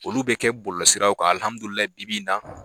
Olu bɛ kɛ bɔlɔlɔsiraw bi-bi na